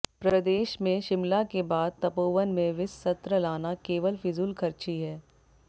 प्रदेश में शिमला के बाद तपोवन में विस सत्र लाना केवल फिजूलखर्ची है